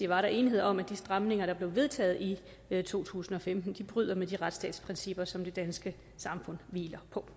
var der enighed om at de stramninger der blev vedtaget i to tusind og femten bryder med de retsstatsprincipper som det danske samfund hviler på